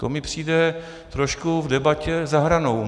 To mi přijde trošku v debatě za hranou.